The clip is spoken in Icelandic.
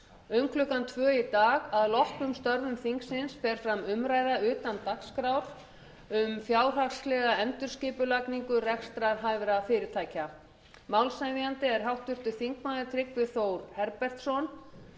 um klukkan tvö í dag að loknum störfum þingsins fer fram umræða utan dagskrár um fjárhagslega endurskipulagningu rekstrarhæfra fyrirtækja málshefjandi er háttvirtur þingmaður tryggvi þór herbertsson